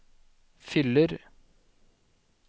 fyller